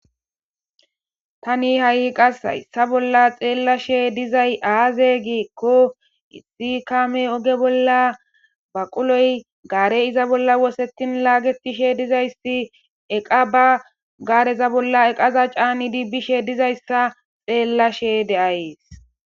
Taani ha'i hayssa bolla xellashe dizay azee gikko issi kaamey ogge bolla baqqulloy gaarey iza bolla wossettidi lagettishe dizayssi eeqa ba gaareza bolla caanidi bishe dizaysikka xellashe de'ayssii